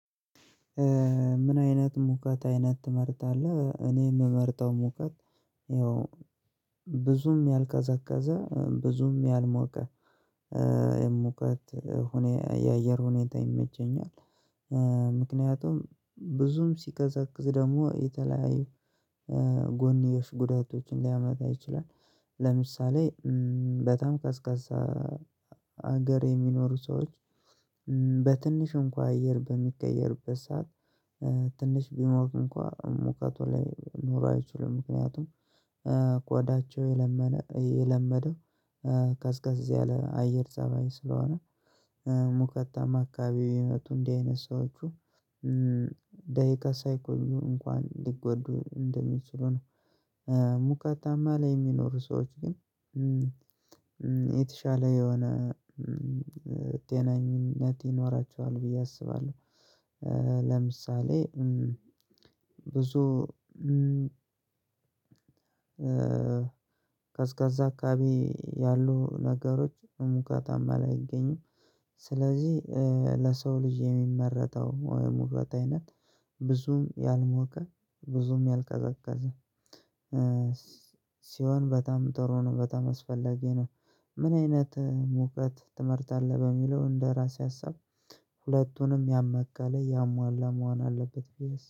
ምን አይነት ሙቀት አይነት ትመርጣለህ? እኔ የምመርጠው ሙቀት። ያው ብዙም ያልቀዘቀዘ ብዙም ያልሞቀ የሙቀት የአየር ሁኔታ ይመቸኛል። ምክንያቱም ብዙም ሲቀዘቅዝ ደግሞ የተለያዩ ጎንዮሽ ጉዳቶችን ሊያመጣ ይችላል። ለምሳሌ በጣም ቀዝቃዛ ሀገር የሚኖሩ ሰዎች። በትንሽ እንኳን አየር በሚቀየርበት ሰዓት ትንሽ ቢሞቅ እንኳን ሙቀቱ ላይ ኑሮ አይችሉም። ምክንያቱም ቆዳቸው የለመደው ቀዝቀዝ ያለ አየር ፀባይ ስለሆነ ሙቀታማ አካባቢ የሚበጡ እንዲህ አይነት ሰዎች። ደቂቃ ሳይቆዩ እንኳን ሊጎዱ እንደሚችሉ ነው። ሙቀታማ ላይ የሚኖሩ ሰዎች የተሻለ የሆነ ጤነኝነት ይኖራቸዋል ብዬ አስባለሁ። ለምሳሌ ብዙ ቀዝቃዛ አካባቢ ያሉ ነገሮች ሙቀታማ ላይ አይገኙም። ስለዚህ ለሰው ልጅ የሚመረጠው ሙቀት አይነት ብዙም ያልሞቀ ብዙም ያልቀዘቀዘ ሲሆን በጣም ትሩ ነው በጣም አስፈላጊ ነው። ምን አይነት ሙቀት ትመርጣለህ በሚለው እንደ ራሴ ሀሳብ ሁለቱንም ያማከለ ያሟላ መሆን አለበት ብዬ አስ